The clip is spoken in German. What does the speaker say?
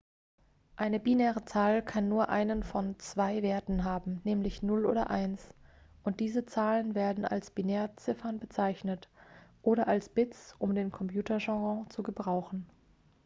eine binäre zahl kann nur einen von zwei werten haben nämlich 0 oder 1 und diese zahlen werden als binärziffern bezeichnet oder als bits um den computerjargon zu gebrauchen